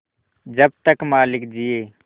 जब तक मालिक जिये